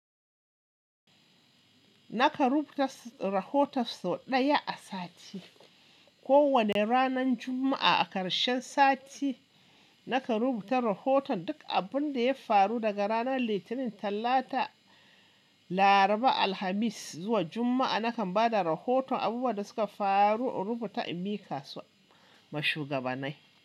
Nakan rubuta rahoto sau ɗaya a sati. Kowane ranan Juma'a a ƙarshen sati, nakan rubuta rahoton duk abun da ya faru daga ranar Litinin, Tallata, Laraba, Alhamis zuwa Juma'a. Nakan ba da rahoton abubuwan da suka faru in rubuta in mika su mashugabanai.